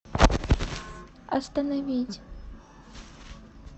остановить